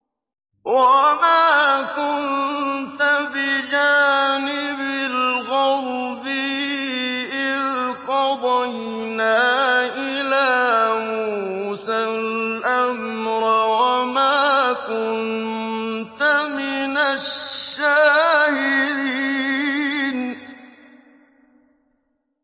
وَمَا كُنتَ بِجَانِبِ الْغَرْبِيِّ إِذْ قَضَيْنَا إِلَىٰ مُوسَى الْأَمْرَ وَمَا كُنتَ مِنَ الشَّاهِدِينَ